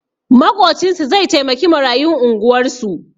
Maƙocinsu zai taimaki marayun unguwarsu